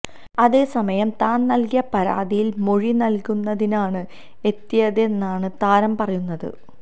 അതേസമയം താൻ നൽകിയ പരാതിയിൽ മൊഴി നൽകുന്നതിനാണ് എത്തിയതെന്നാണ് താരം പറയുന്നത്